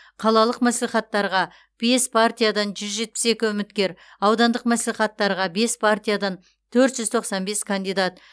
қалалық мәслихаттарға бес партиядан жүз жетпіс екі үміткер аудандық мәслихаттарға бес партиядан төрт жүз тоқсан бес кандидат